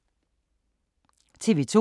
TV 2